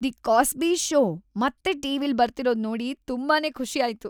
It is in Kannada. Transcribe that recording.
"""ದಿ ಕಾಸ್ಬಿ ಷೋ"" ಮತ್ತೆ ಟಿ.ವಿ.ಲ್ ಬರ್ತಿರೋದ್ ನೋಡಿ ತುಂಬಾನೇ ಖುಷಿ ಆಯ್ತು."